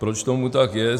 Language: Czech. Proč tomu tak je?